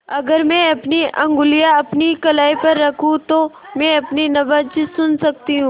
अगर मैं अपनी उंगलियाँ अपनी कलाई पर रखूँ तो मैं अपनी नब्ज़ सुन सकती हूँ